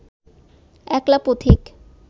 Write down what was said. একলা পথিক